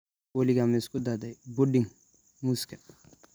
Weligaa ma isku dayday pudding muuska?